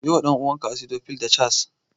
Siyo wa ɗan'uwanka Acidophile da Chaas.